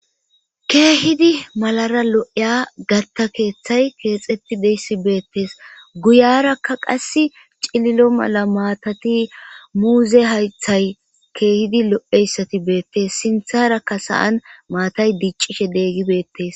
Keehidi malara lo7eya gatta keeththay keexetti deyssi beettees guyarakka qass cililo mala maatati muuze haythay keehidi lo7eyssati beettes sintharakka sa7an maatay diiccishe deeggibeettes.